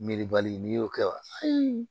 Miiribali n'i y'o kɛ wa